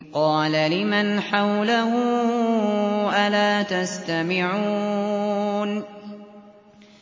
قَالَ لِمَنْ حَوْلَهُ أَلَا تَسْتَمِعُونَ